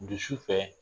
Dusu fɛ